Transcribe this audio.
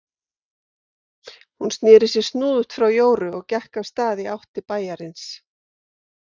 Hún sneri sér snúðugt frá Jóru og gekk af stað í átt til bæjarins.